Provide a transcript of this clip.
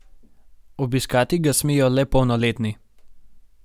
Obiskati ga smejo le polnoletni.